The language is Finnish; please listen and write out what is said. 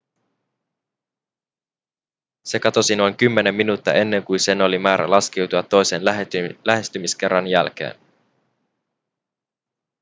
se katosi noin kymmenen minuuttia ennen kuin sen oli määrä laskeutua toisen lähestymiskerran jälkeen